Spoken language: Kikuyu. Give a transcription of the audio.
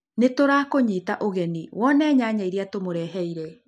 Nĩ tũrakũnyita ũgeni wone nyanya iria tũmũreheire.